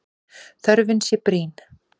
Þörfin sé brýn.